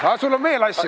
Aga sul on veel asju.